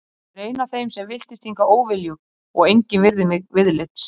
Ég er ein af þeim sem villtist hingað óviljug og engin virðir mig viðlits.